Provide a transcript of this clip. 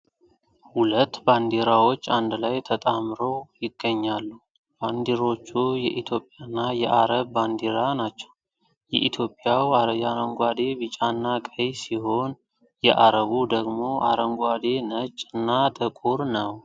2 ባንዲራዎች አንድ ላይ ተጣምሮ ይገኛሉ ። ባይንድሮቹ የኢትዮጵያና የአረብ ባንዲራ ናቸው የኢትዮጵያው ያንጓዴ ቢጫ እና ቀይ ሲሆን የአረቡ ደግሞ አረንጓዴ ነጭ ና ጥቁር ነው።